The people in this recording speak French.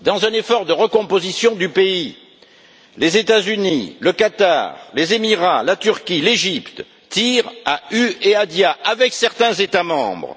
Dans un effort de recomposition du pays, les États Unis, le Qatar, les Émirats, la Turquie, l'Égypte tirent à hue et à dia avec certains États membres.